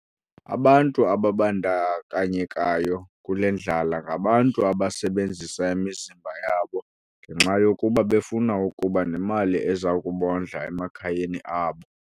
Abantu ababandakanyekayo kule ndlala ngabantu abasebenzisa imizimba yabo ngenxa yokuba befuna ukuba nemali ezakubondla emakhayeni abo.